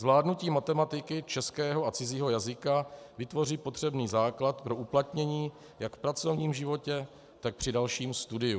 Zvládnutí matematiky, českého a cizího jazyka vytvoří potřebný základ pro uplatnění jak v pracovním životě, tak při dalším studiu.